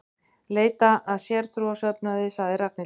Leita að sértrúarsöfnuði sagði Ragnhildur.